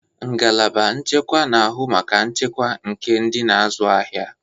Ngalaba nchekwa na-ahụ maka nchekwa nke ndị na-azụ ahịa.